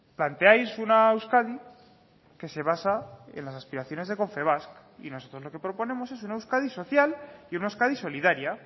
planteáis una euskadi que se basa en las aspiraciones de confebask y nosotros lo que proponemos es una euskadi social y una euskadi solidaria